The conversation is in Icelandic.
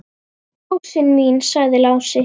Rósin mín, sagði Lási.